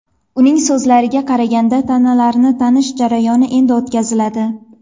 Uning so‘zlariga qaraganda, tanalarni tanish jarayoni endi o‘tkaziladi.